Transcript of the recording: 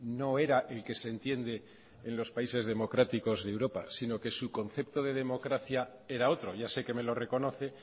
no era el que se entiende en los países democráticos de europa sino que su concepto de democracia era otro ya sé que me lo reconoce